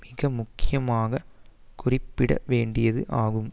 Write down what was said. மிக முக்கியமாக குறிப்பிட வேண்டியது ஆகும்